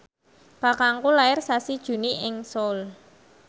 kakangku lair sasi Juni ing Seoul